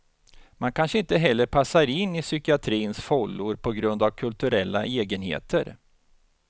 Man kanske inte heller passar in i psykiatrins fållor på grund av kulturella egenheter.